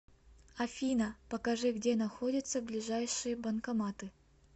афина покажи где находятся ближайшие банкоматы